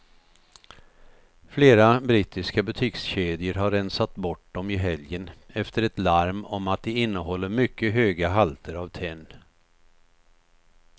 Flera brittiska butikskedjor har rensat bort dem i helgen efter ett larm om att de innehåller mycket höga halter av tenn.